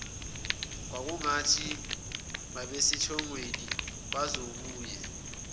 kwakungathi basesithongweni bazobuye